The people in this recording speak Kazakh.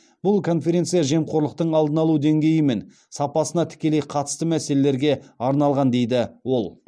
бұл конференция жемқорлықтың алдын алу деңгейі мен сапасына тікелей қатысты мәселелерге арналған дейді ол